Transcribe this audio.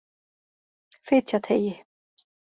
Fitjateigi